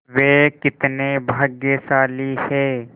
वे कितने भाग्यशाली हैं